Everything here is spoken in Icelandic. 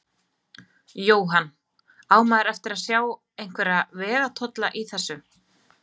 Jóhann: Á maður eftir sjá einhverja vegatolla í þessu?